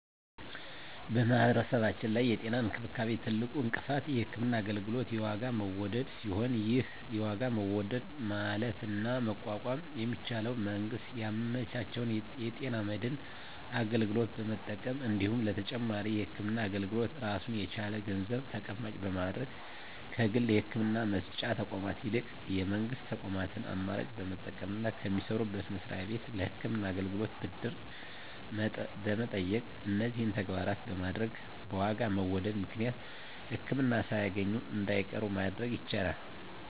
በማህበረሰባችን ላይ የጤና እንክብካቤ ትልቁ እንቅፋት የህክምና አገልግሎት የዋጋ መወደድ ሲሆን ይህን የዋጋ መወደድ ማለፍና መቋቋም የሚቻለው መንግስት ያመቻቸውን የጤና መድን አገልግሎት በመጠቀም እንዲሁም ለተጨማሪ የህክምና አገልግሎት ራሱን የቻለ ገንዘብ ተቀማጭ በማድረግ ከግል የህክምና መስጫ ተቋማት ይልቅ የመንግስት ተቋማትን አማራጭ በመጠቀምና ከሚሰሩበት መስሪያ ቤት ለህክምና አገልግሎት ብድር በመጠየቅ እነዚህን ተግባራት በማድረግ በዋጋ መወደድ ምክንያት ህክምና ሳያገኙ እንዳይቀሩ ማድረግ ይቻላል።